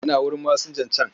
Yana wurin masinjan can.